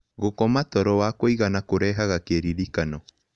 Gũkoma toro wa kũĩgana kũrehaga kĩrĩrĩkano